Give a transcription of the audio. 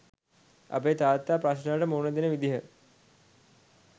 අපේ තාත්තා ප්‍රශ්නවලට මුණ දෙන විදිහ